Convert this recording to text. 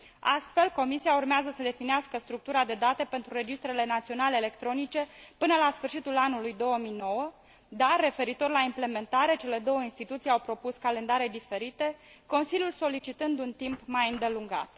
Astfel, Comisia urmează să definească structura de date pentru registrele naționale electronice până la sfârșitul anului 2009, dar, referitor la implementare, cele două instituții au propus calendare diferite, Consiliul solicitând un timp mai îndelungat.